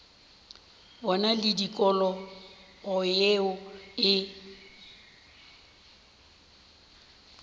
bona le tikologo yeo e